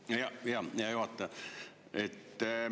Hea juhataja!